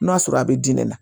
N'a sɔrɔ a bɛ di ne ma